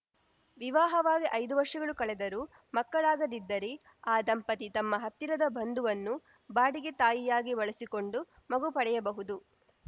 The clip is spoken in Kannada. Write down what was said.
ವಿವಾಹವಾಗಿ ಐದು ವರ್ಷಗಳು ಕಳೆದರೂ ಮಕ್ಕಳಾಗದಿದ್ದರೆ ಆ ದಂಪತಿ ತಮ್ಮ ಹತ್ತಿರದ ಬಂಧುವನ್ನು ಬಾಡಿಗೆ ತಾಯಿಯಾಗಿ ಬಳಸಿಕೊಂಡು ಮಗು ಪಡೆಯಬಹುದು